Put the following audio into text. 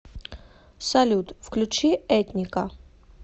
салют включи этника